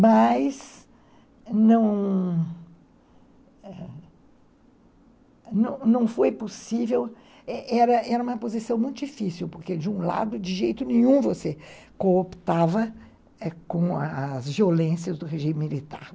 Mas, não, não foi possível, era uma posição muito difícil, porque, de um lado, de jeito nenhum você cooptava com as as violências do regime militar.